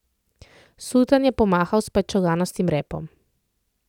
Sultan je pomahal s pajčolanastim repom.